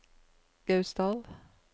Gausdal